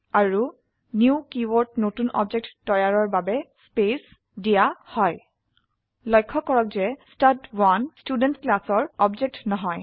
আৰু new keyword নতুন object তৈয়াৰৰ বাবে স্পেস দিয়া হয় লক্ষ্য কৰক যে ষ্টাড1 ষ্টুডেণ্ট ক্লাসৰ অবজেক্ট নহয়